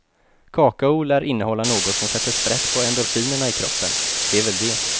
Kakao lär innehålla något som sätter sprätt på endorfinerna i kroppen, det är väl det.